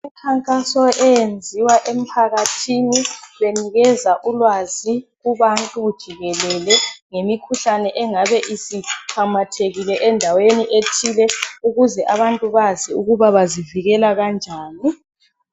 Umkhankaso oyenziwa emphakathini benikeza ulwazi kubantu jikelele ngemikhuhlane engabe isimamathekile endaweni ethile ukuze abantu bazi ukuba bazivikela kanjani.